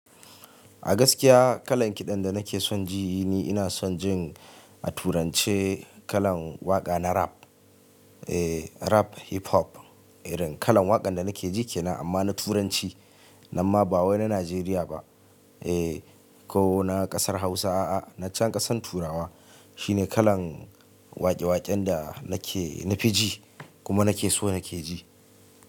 A gaskiya kalan kiɗan da nake son ji ni ina son jin a turanci kalan waƙa na rap. Eh rap hip hop irin kalan waƙan da nake ji kenan amma na turanci. Nan ma ba wai na Najeriya ba eh ko na ƙasar Hausa a'a na can ƙasan Turawa. Shi ne kalan waƙe-waƙen da nake na fi ji kuma nake so nake ji.